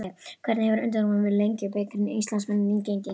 Hvernig hefur undirbúningur fyrir Lengjubikarinn og Íslandsmótið gengið?